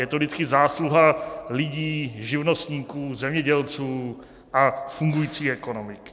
Je to vždycky zásluha lidí, živnostníků, zemědělců a fungující ekonomiky.